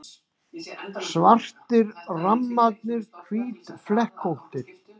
Svartir rammarnir hvítflekkóttir.